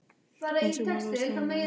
Eins og má lesa um hér